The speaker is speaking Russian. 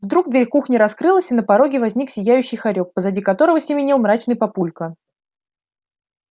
вдруг дверь кухни раскрылась и на пороге возник сияющий хорёк позади которого семенил мрачный папулька